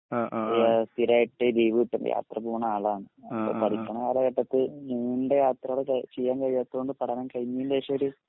സ്ഥിരായിട്ട് ലീവ്‌കിട്ടൂലെ അപ്പോപോണെ ആളാണ് അപ്പോ പഠിക്ക്ണെ കാലഘട്ടത്തിൽ നീണ്ട യാത്രകൾ ചെയ്യാൻ കഴിയാത്തൊണ്ട് പഠനം കഴിഞ്ഞീന്റെ ശേഷോര്